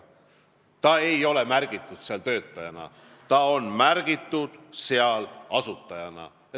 Minu väide on see, et ta ei ole märgitud seal töötajana, ta on märgitud seal asutajana.